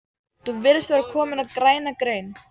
Þú virðist vera kominn á græna grein